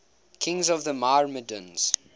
kings of the myrmidons